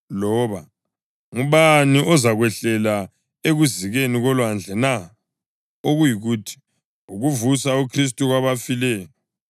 “loba, ‘Ngubani ozakwehlela ekuzikeni kolwandle na?’ + 10.7 UDutheronomi 30.13” (okuyikuthi, ukuvusa uKhristu kwabafileyo).